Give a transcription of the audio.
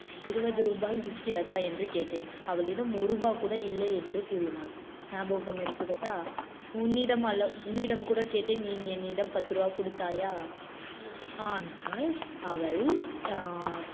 இருபது ரூபாய் இருக்கிறதா என்று கேட்டேன். அவளிடம் ஒரு ரூபாய் கூட இல்லை என்று கூறினாள். ஞாபகம் இருக்கிறதா? உன்னிடம் அல்ல உன்னிடம் கூட கேட்டேன் நீ என்னிடம் பத்து ரூபாய் கொடுத்தாயா ஆனால் அவள் அஹ்